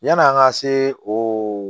Yann'an ka se o